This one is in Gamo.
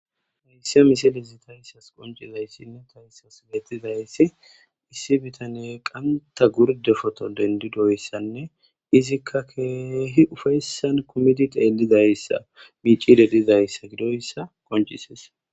heyssia misile zi tayyssas qoncizayssinne tayssas geettizayssi issi bitane qanta gurde foto dendidoyssanne izikka keehi ufayssan komidi teelizayssa miicidedizayssa gidoyssa qoncises